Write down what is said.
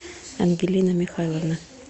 ангелина михайловна